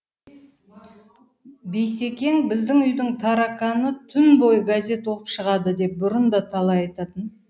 бейсекең біздің үйдің тарақаны түн бойы газет оқып шығады деп бұрын да талай айтатын